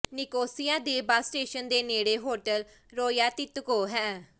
Nicosia ਦੇ bus station ਦੇ ਨੇੜੇ ਹੋਟਲ ਰੋਯਾਤਿਕੋਕੋ ਹੈ